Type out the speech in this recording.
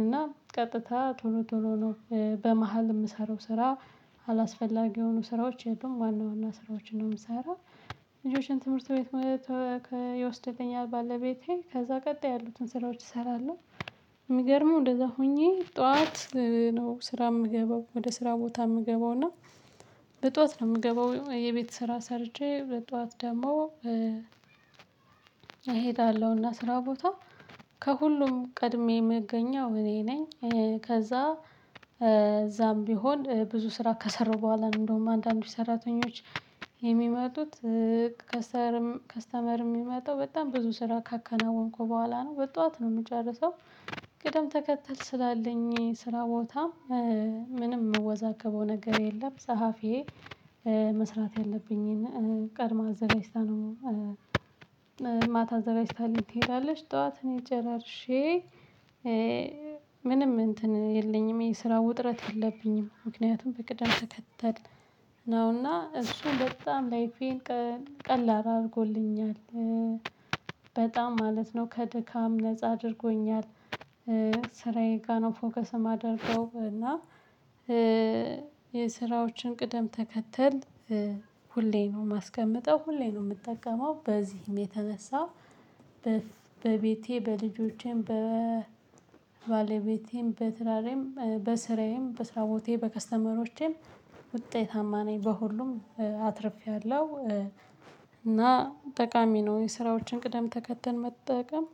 እና ቀጥታ ቶሎ ቶሎ ነው። በመሃል የምሰራው ስራ አላስፈላጊ የሆኑ ስራዎች የትም ዋና ዋና ስራዎችን ነው የምሰራው ልጆችን ትምህርት ቤት ይወስድልኛል ባለቤቴ ከዛ ቀጣይ ያሉትን ስራዎች እሰራለሁ። የሚገርመው እንደዛ ሆኜ ጠዋት ነው ስራ የምገባው ወደ ስራ ቦታ የምገባው እና በጠዋት ነው የምገባው የቤት ስራ ሰርቼ ለጧት ደግሞ እሄዳለሁ እና ስራ ቦታ ከሁሉም ቀድሜ የምገኘው እኔ ነኝ። ከዛ እዛም ቢሆን ብዙ ስራ ከሰራው በኋላ እንደውም አንዳንዶች ሰራተኞች የሚመጡት ከስርም ከስተመር የሚመጣው በጣም ብዙ ስራ ካከናወንኩ በኋላ ነው። በጧት ነው የምጨርሰው። ቅደም ተከተል ስላለኝ ስራ ቦታ ምንም የምወዛገበው ነገር የለም። ጸሀፊዬ መስራት ያለብኝን ቀድማ አዘጋጅታ ነው ማታ አዘጋጅታልኝ ትሄዳለሽ ጠዋት እኔ ጨራርሼ ምንም እንትን የለኝም የስራ ውጥረት የለብኝም ምክንያቱም በቅደም ተከተል ነው እና እሱ በጣም ላይፌን ቀላል አድርጎልኛል። በጣም ማለት ነው ከድካም ነፃ አድርጎኛል። ስራዬ ጋር ነው ፎከስ የማደርገው እና የስራዎችን ቅደም ተከተል ሁሌ ነው ማስቀመጠው ሁሌም ነው የምጠቀመው በዚህም የተነሳ በቤቴ፣ በልጆቼም፣ በባለቤቴም፣ በስራ ላይም፣ በስራዬም በስራ ቦታዬ፣ በከስተመሮቼም ውጤታማ ነኝ። በሁሉም አትርፌያለሁ እና ጠቃሚ ነው። የስራዎችን ቅደም ተከተል መጠቀም